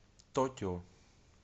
токио